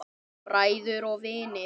Bræður og vinir.